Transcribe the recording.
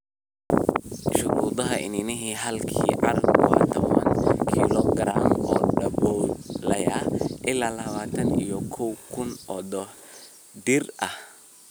Shuruudda iniinaha halkii acre waa tawan kilogaram oo daboolaya ilaa labatan iyo kow kun oo dhir ah.